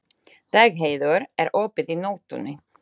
Dagheiður, er opið í Nóatúni?